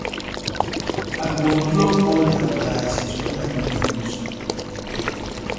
I go unplug all di appliances wen I no dey use dem.